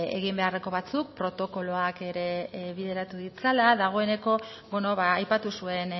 eginbeharreko batzuk protokoloak ere bideratu ditzala dagoeneko beno ba aipatu zuen